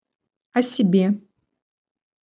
о себе